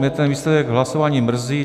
Mě ten výsledek hlasování mrzí.